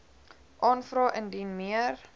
aanvra indien meer